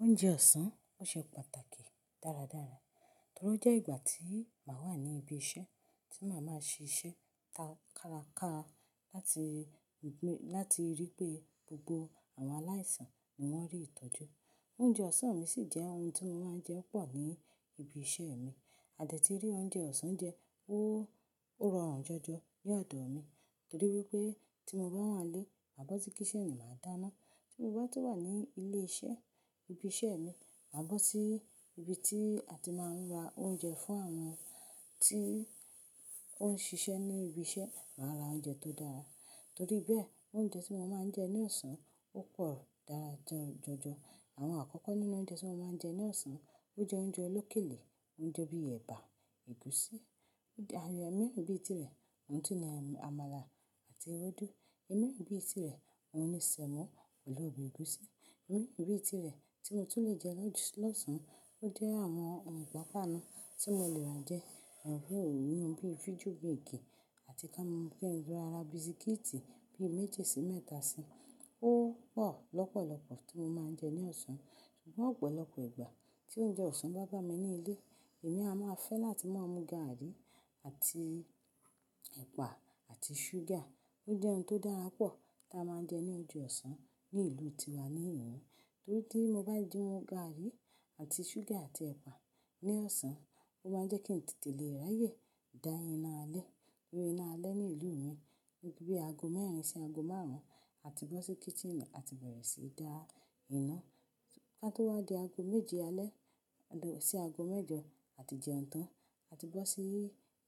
Oúnjẹ ọ̀sán, ó ṣe pàtàkì dáradára, torí ó jẹ́ ìgbà tí màá wà ní ibi iṣẹ́, tí màá máa ṣiṣẹ́ kárakára láti rí pé gbogbo àwọn aláìsàn ni wọ́n rí ìtọ́jú. Oúnjẹ ọ̀sán mi sì jẹ́ ohun tí mo máa ń jẹ pọ̀ ní ibi iṣẹ́ mi. Àdìẹ tí rí oúnjẹ ọ̀sán jẹ, ó rọrùn jọjọ ní ọdọ́ mi, torí wípé tí mo bá wà nílé, àbọ̀ tí kì í ṣe kisini máa dáná. Tí mo bá tó wà ní ilé iṣẹ́, ibi iṣẹ́ mi, mà bọ̀ sí ibi tí a ti máa ń ra oúnjẹ fún àwọn tí ó ń ṣiṣẹ́ ní ibi iṣẹ́, màá ra oúnjẹ tó dára. Torí bẹ́ẹ̀, oúnjẹ tí mo máa ń jẹ ní ọ̀sán ó pọ̀ dáradára jọjọ. Àwọn àkọ́kọ́ nínú oúnjẹ tí mo máa ń jẹ ní ọ̀sán, ó jẹ́ oúnjẹ olókèlè, oúnjẹ bíi ẹ̀bà, ẹ̀gúsí, ààyò míràn bíi tirẹ̀, ohun tí ni àmàlà àti ewédú. Ìmi ìbí tirẹ̀, ohun ni sẹ̀mọ́ pẹ̀lú ọbẹ̀ ẹ̀gúsí. Ìmọ̀ ìbí tirẹ̀ tí mo tún lè jẹ lọ́sàn-án ó jẹ́ àwọn ohun pàápàá nu tí mo lè rán jẹ, àwọn ohun ìyún bíi fíídíò bíi igi àti ká mọ̀ pé ńlá ara bisikíìtì bíi méje sí mẹ́ta sí, ó pọ̀ lọ́pọ̀lọ́pọ̀ tí mo máa ń jẹ ní ọ̀sán. Ṣùgbọ́n ọ̀pọ̀lọpọ̀ ìgbà tí oúnjẹ ọ̀sán bá gbá mi nílé, èmi a máa fẹ́ láti máa mú gàrí àti ẹ̀pà àti ṣúgà. Ó jẹ́ ohun tó dára pọ̀ tí a máa ń jẹ ní oúnjẹ ọ̀sán ní ìlú tiwa ni ìhun. Torí tí mo bá jẹun gàrí àti ṣúgà àti ẹ̀pà ní ọ̀sán, ó máa ń jẹ́ kí n tètè lè ráyè dá íná alẹ́. Nítorí iná alẹ́ ní ìlú mi wípé aago mẹ́rin sí aago márùn-ún, a ti bọ́ sí kítírìnì a ti bẹ̀rẹ̀ síí dá iná. Ká tó wá di aago méje alẹ́ lọ sí aago mẹ́jọ, a ti jẹun tán, a ti bọ́ sí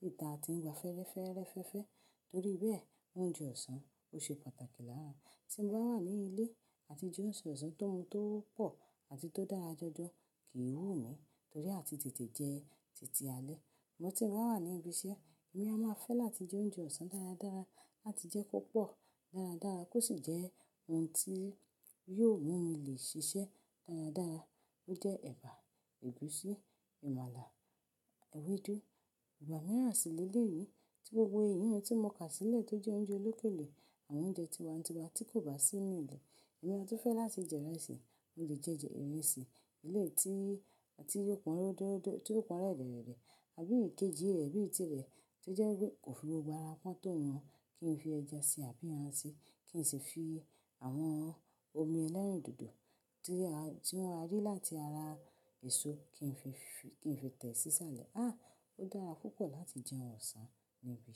ìta, a ti ń wa fẹ́ẹ́rẹ́fẹ́ẹ́rẹ́fẹ́ẹ́. Torí bẹ́ẹ̀, oúnjẹ ọ̀sán ó ṣe pàtàkì lára. Tí mo bá wà nílé àti jẹ oúnjẹ ọ̀sán tó n tó pọ̀ àti tó dára jọjọ kì í wù mí, torí a ti tètè jẹ títí alẹ́. Ṣùgbọ́n tí mo bá wà ní ibi iṣẹ́, èmi a máa fẹ́ láti jẹ oúnjẹ ọ̀sán dáradára láti jẹ́ kó pọ̀ dáradára kó sì jẹ́ ohun tí yóò mú mi lè ṣiṣẹ́ dáradára. Ó jẹ́ ẹ̀bà, ẹ̀gúsí, àmàlà, ewédú, ẹ̀bà nígbà míràn sí lélèéyí tí gbogbo èyí ni tí mo kà sílẹ̀ tó jẹ́ oúnjẹ olókèlè, àwọn oúnjẹ tiwa n tiwa tí kò bá sí nínú ilé. Èmi ọ̀tún fẹ́ láti jẹ ìrẹsì, mo lè jẹ ìrẹsì elé tí ó ti pọn ródóródó, tí ó pọn rẹ̀rẹ̀rẹ̀, àbí ìkejì ẹbí tirẹ̀ tí ó jẹ́ kò fi gbogbo ara pọ́n tó wọn kí n fi ẹja sí àbí ẹran sí, kí n sì fi àwọn omi ẹlẹ́rìndòdò tí wọ́n rí láti ara èso kí n fi tẹ̀ sí sálẹ̀. Áà ó dára púpọ̀ láti jẹun ọ̀sán ní ibi iṣẹ́.